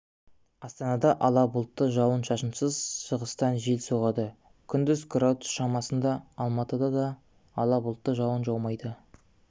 астанада ала бұлтты жауын-шашынсыз шығыстан жел соғады күндіз градус шамасында алматыда да ала бұлтты жауын жаумайды